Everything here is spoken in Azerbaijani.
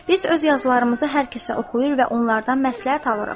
"Biz öz yazılarımızı hər kəsə oxuyur və onlardan məsləhət alırıq.